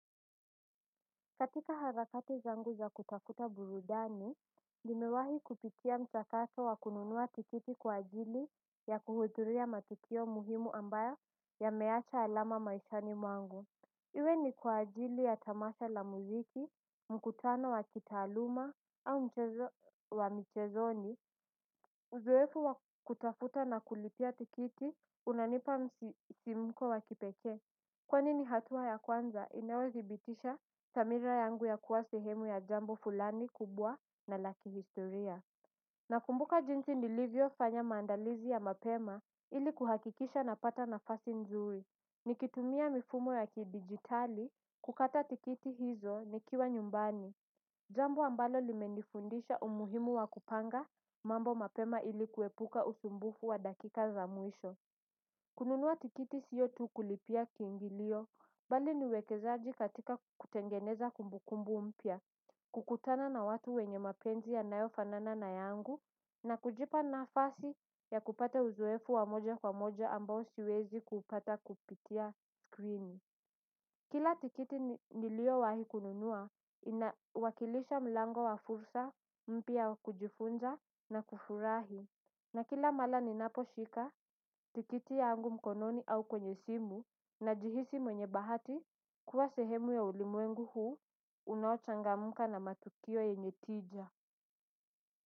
Katika harakati zangu za kutafuta burudani, nimewahi kupitia mchakato wa kununua tikiti kwa ajili ya kuhuduria matukio muhimu ambayo yameacha alama maishani mwangu. Iwe ni kwa ajili ya tamasha la muziki, mkutano wa kitaaluma, au mchezo wa michezoni. Uzoefu wa kutafuta na kulipia tikiti, unanipa msisimko wa kipekee. Kwani ni hatua ya kwanza inayodhibitisha samira yangu ya kuwa sehemu ya jambo fulani kubwa na lakihistoria. Nakumbuka jinsi nilivyo fanya maandalizi ya mapema ili kuhakikisha napata nafasi nzuri. Nikitumia mifumo ya kidijitali kukata tikiti hizo nikiwa nyumbani. Jambo ambalo limenifundisha umuhimu wa kupanga mambo mapema ili kuepuka usumbufu wa dakika za mwisho. Kununua tikiti siyo tu kulipia kiingilio, bali niuwekezaji katika kutengeneza kumbukumbu mpya, kukutana na watu wenye mapenzi yanayofanana na yangu, na kujipa nafasi ya kupata uzoefu wa moja kwa moja ambao siwezi kupata kupitia screen. Kila tikiti niliyowahi kununua inawakilisha mlango wa fursa mpya wa kujifunza na kufurahi. Na kila mara ninaposhika tikiti yangu mkononi au kwenye simu najihisi mwenye bahati kuwa sehemu ya ulimwengu huu unaochangamka na matukio yenye tija.